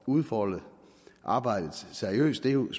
udfolde arbejdet seriøst er jo med